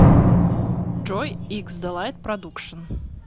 джой иксдэлайт продукшн